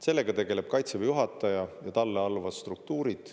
Sellega tegeleb Kaitseväe juhataja ja talle alluvad struktuurid.